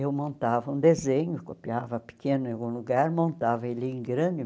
Eu montava um desenho, copiava pequeno em algum lugar, montava ele em grande.